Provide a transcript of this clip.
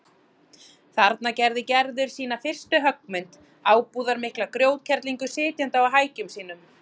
Þarna gerði Gerður sína fyrstu höggmynd, ábúðarmikla grjótkerlingu sitjandi á hækjum sínum.